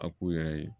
A k'u yɛrɛ ye